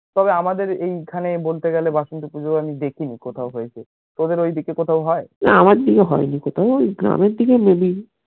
এই আমার দিকে হয়নি কোথাও ঐ গ্রামের দিকে maybe